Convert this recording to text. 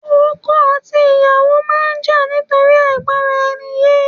Ọkọ àti aya máa ń jà nítorí àìgbọ́ra-eni-yé